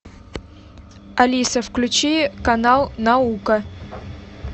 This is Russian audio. алиса включи канал наука